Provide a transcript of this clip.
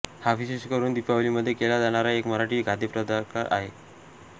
हा विशेषकरून दीपावलीमध्ये केला जाणारा एक मराठी खाद्यप्रकार आहे